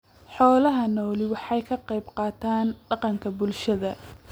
Xoolaha nooli waxa ay ka qayb qaataan dhaqanka bulshada.